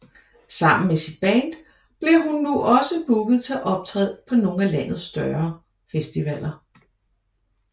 Sammen med sit band bliver hun nu også booket til at optræde på nogle af landets større festivaler